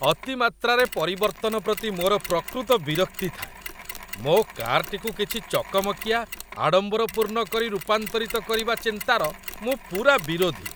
ଅତିମାତ୍ରାରେ ପରିବର୍ତ୍ତନ ପ୍ରତି ମୋର ପ୍ରକୃତ ବିରକ୍ତି ଥାଏ। ମୋ କାର୍‌ଟିକୁ କିଛି ଚକମକିଆ, ଆଡ଼ମ୍ବରପୂର୍ଣ୍ଣ କରି ରୂପାନ୍ତରିତ କରିବା ଚିନ୍ତାର ମୁଁ ପୂରା ବିରୋଧୀ।